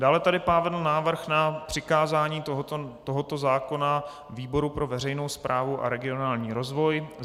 Dále tady padl návrh na přikázání tohoto zákona výboru pro veřejnou správu a regionální rozvoj.